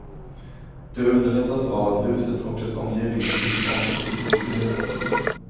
Det underlättas av att huset och dess omgivning byggs om i cityförnyelsen.